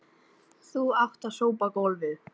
Þú átt að sópa gólf.